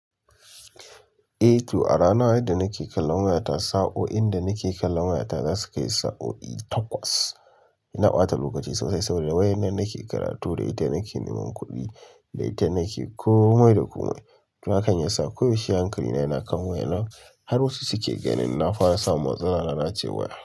Eh to a rana, yadda nake kallon wayata, sa'o'in da nake kallon wayata za su kai sa'o'i takwas. Ina ɓata lokaci sosai saboda wayar nan nake karatu, da ita nake neman kuɗi, da ita nake komai da komai. To hakan yasa koyaushe hankali na yana kan wayan nan, har wasu suke ganin na fara samun matsala ana cewa.